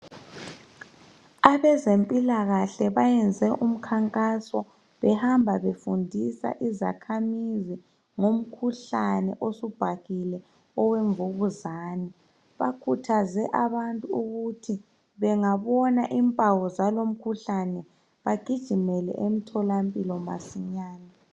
Abezempilakahle bayenze umkhankaso behamba befundisa izakhamizi ngomkhuhlane osubhahile owemvukuzani bakhuthaze abantu ukuthi bengabona impawu zalo mkhuhlane begijimele emtholampilo masinyani